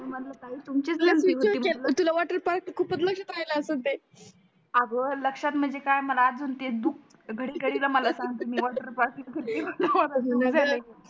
मी म्हणल ताई तुमचीच गलती होती म्हटल तुला वॉटर पार्क खूपच लक्षात राहाल असेल ते अग लक्षात म्हणजे काय मला अजून ते दुख घडी घडी मला सांगता मी वॉटर पार्क कधी कोणा वर